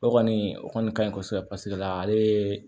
O kɔni o kɔni ka ɲi kosɛbɛ paseke la ale ye